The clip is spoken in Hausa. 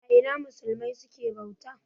A Ina musulmai suke bauta?